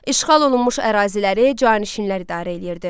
İşğal olunmuş əraziləri canişinlər idarə eləyirdi.